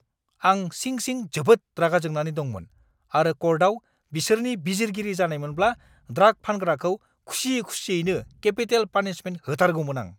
आं सिं-सिं जोबोद रागा जोंनानै दंमोन आरो कर्टआव बिसोरनि बिजिरगिरि जानायमोनब्ला ड्राग फानग्राखौ खुसि-खुसियैनो केपिटेल पानिशमेन्ट होथारगौमोन आं।